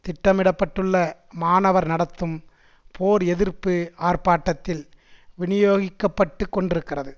திட்டமிட பட்டுள்ள மாணவர் நடத்தும் போர் எதிர்ப்பு ஆர்ப்பாட்டத்தில் விநியோகிக்கப்பட்டுக் கொண்டிருக்கிறது